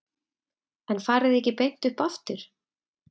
En farið þið ekki beint upp aftur?